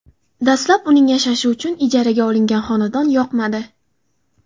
Dastlab uning yashashi uchun ijaraga olingan xonadon yoqmadi.